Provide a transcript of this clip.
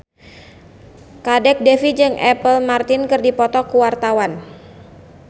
Kadek Devi jeung Apple Martin keur dipoto ku wartawan